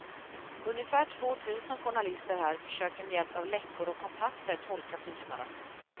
Ungefär tvåtusen journalister här försöker med hjälp av läckor och kontakter tolka tystnaden.